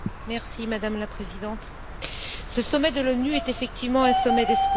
Madame la Présidente, ce sommet de l'ONU est effectivement un sommet d'espoir.